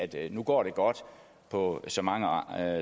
det nu går godt på så mange andre